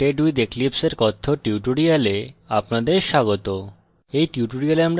getting started with eclipse এর কথ্য tutorial আপনাদের স্বাগত